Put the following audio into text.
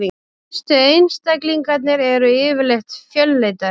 Stærstu einstaklingarnir eru yfirleitt fölleitari.